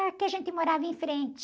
Ah, que a gente morava em frente.